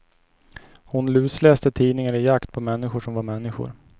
Hon lusläste tidningar i jakt på människor som var människor.